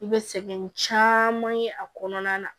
I bɛ sɛgɛn caman ye a kɔnɔna na